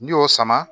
N'i y'o sama